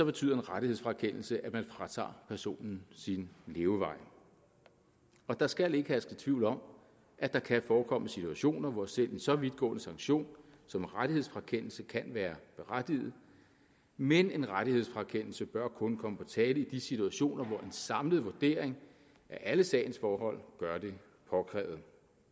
betyder en rettighedsfrakendelse at man fratager personen sin levevej og der skal ikke herske tvivl om at der kan forekomme situationer hvor selv en så vidtgående sanktion som en rettighedsfrakendelse kan være berettiget men en rettighedsfrakendelse bør kun komme på tale i de situationer hvor en samlet vurdering af alle sagens forhold gør det påkrævet